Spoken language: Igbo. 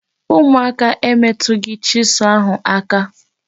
Ụmụaka emetụghị chisụl ahụ aka.